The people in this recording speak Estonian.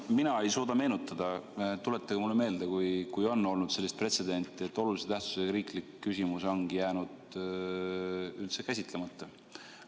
Mina ei suuda meenutada – tuletage mulle meelde, kui on olnud sellist pretsedenti –, et olulise tähtsusega riiklik küsimus ongi jäänud üldse käsitlemata.